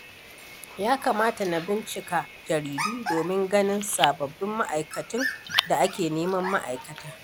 Ya kamata na bincika jaridu domin ganin sabbin ma'aikatun da ake neman ma’aikata.